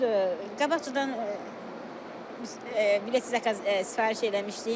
Yaxşıdır, qabaqcadan bilet sifariş eləmişdik.